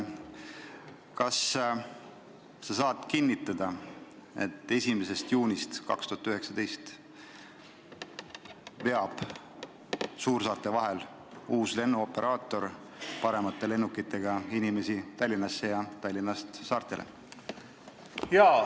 Kas sa saad kinnitada, et 1. juunist 2019 veab uus lennuoperaator paremate lennukitega inimesi suursaartelt Tallinnasse ja Tallinnast saartele?